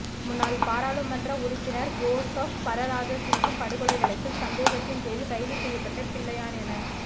முன்னாள் பாராளுமன்ற உறுப்பினர் ஜோசப் பரராஜசிங்கம் படுகொலை வழக்கில் சந்தேகத்தின் பேரில் கைது செய்யப்பட்ட பிள்ளையான் என